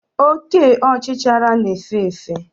Oke ọchichara na-efe efe.